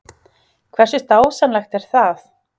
Hversu dásamlegt er það?